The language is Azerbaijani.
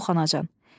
Yox, anacan.